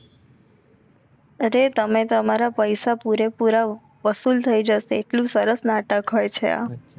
અરે તમે તમારા પૈસા પૂરેપૂરા વસૂલ થઈ જસે આટલું સરસ નાટક હોય છે આ